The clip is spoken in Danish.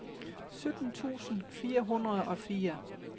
sytten tusind fire hundrede og fire